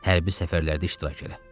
Hərbi səfərlərdə iştirak elə.